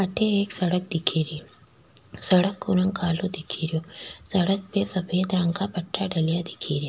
अठ एक सड़क दिख री सड़क को रंग काला दिखे रो सड़क में सफ़ेद रंग का पत्ता डला दिख रा।